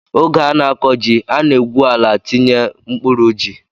Oge a na-akọ ji, a na-egwu ala, tinye mkpụrụ ji